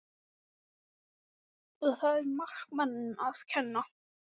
Svo vinnusamur maður átti ekki margar frístundir.